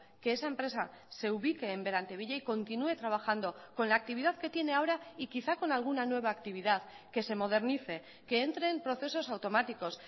que esa empresa se ubique en berantevilla y continúe trabajando con la actividad que tiene ahora y quizá con alguna nueva actividad que se modernice que entre en procesos automáticos